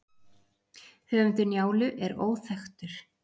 Höfundur Njálu er óþekktur.